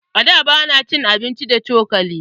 A da, ba na cin abinci da cokali.